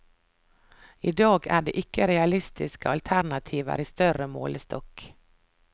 I dag er det ikke realistiske alternativer i større målestokk.